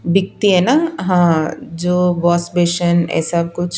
बिकती है ना हां जो वॉश बेशन ऐसा कुछ।